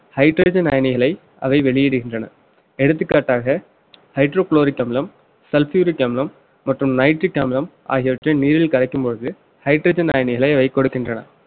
hydrogen அயனிகளை அவை வெளியிடுகின்றன எடுத்துக்காட்டாக hydrochloric அமிலம் sulfuric அமிலம் மற்றும் nitric அமிலம் ஆகியவற்றை நீரில் கரைக்கும் பொழுது hydrogen அயனிகளை அவை கொடுக்கின்றன